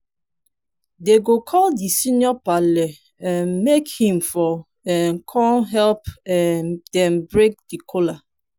dem go call di senior parle um make him for um kon help um dem break the kola